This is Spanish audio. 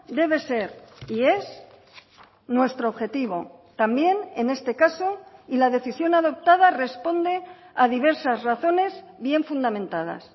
debe ser y es nuestro objetivo también en este caso y la decisión adoptada responde a diversas razones bien fundamentadas